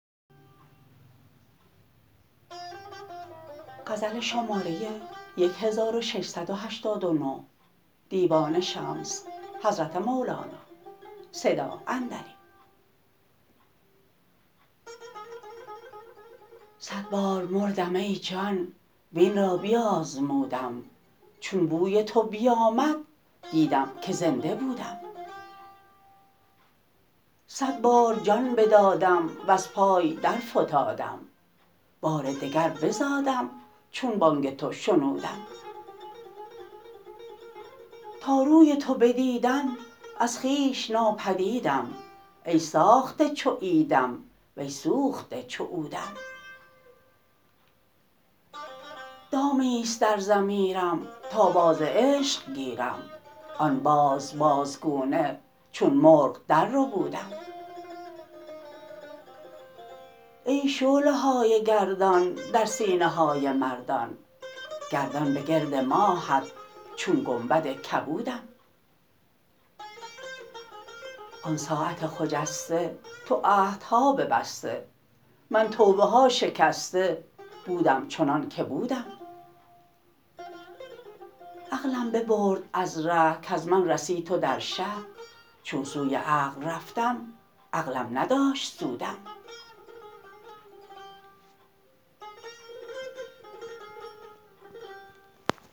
صد بار مردم ای جان وین را بیازمودم چون بوی تو بیامد دیدم که زنده بودم صد بار جان بدادم وز پای درفتادم بار دگر بزادم چون بانگ تو شنودم تا روی تو بدیدم از خویش نابدیدم ای ساخته چو عیدم وی سوخته چو عودم دامی است در ضمیرم تا باز عشق گیرم آن باز بازگونه چون مرغ درربودم ای شعله های گردان در سینه های مردان گردان به گرد ماهت چون گنبد کبودم آن ساعت خجسته تو عهدها ببسته من توبه ها شکسته بودم چنانک بودم عقلم ببرد از ره کز من رسی تو در شه چون سوی عقل رفتم عقلم نداشت سودم